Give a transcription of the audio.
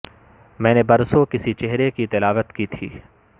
میں نے برسوں کسی چہرے کی تلاوت کی تھی